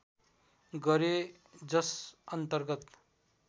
गरे जस अन्तर्गत